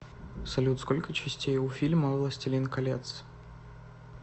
салют сколько частей у фильма властелин колец